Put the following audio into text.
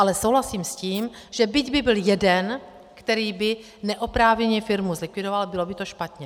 Ale souhlasím s tím, že byť by byl jeden, který by neoprávněně firmu zlikvidoval, bylo by to špatně.